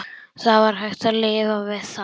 Það var hægt að lifa við það.